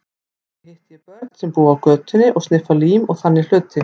Einnig hitti ég börn sem búa á götunni og sniffa lím og þannig hluti.